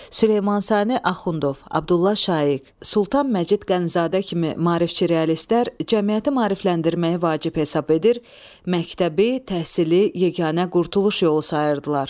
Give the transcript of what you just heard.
Süleyman Sani Axundov, Abdulla Şaiq, Sultan Məcid Qənizadə kimi maarifçi realistlər cəmiyyəti maarifləndirməyi vacib hesab edir, məktəbi, təhsili yeganə qurtuluş yolu sayırdılar.